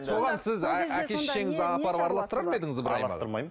соған сіз әке шешеңізді апарып араластырар ма едіңіз ыбырайым араластырмаймын